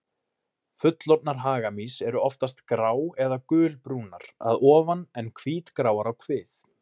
Fullorðnar hagamýs eru oftast grá- eða gulbrúnar að ofan en hvítgráar á kvið.